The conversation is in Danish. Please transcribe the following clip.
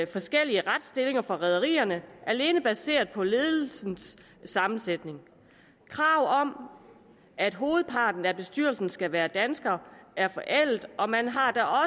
forskellige retsstillinger for rederierne alene baseret på ledelsens sammensætning kravet om at hovedparten af bestyrelsens medlemmer skal være danskere er forældet og man har